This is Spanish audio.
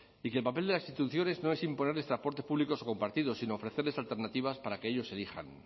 y que el papel de las instituciones no es imponerles transportes públicos o compartidos sino ofrecerles alternativas para que ellos elijan